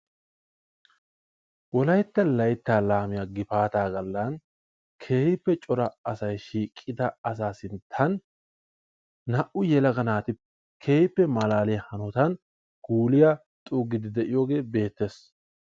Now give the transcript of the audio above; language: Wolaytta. WOLAYTTA LAYTTA LAAMIYA GIFAATA GALAN keehippe cora asay shiiqifdaaga garsan, naa'u yeklaga naati keehippe malaaliya hanotan guuliya, xuugiidi de'iyoogee beetees.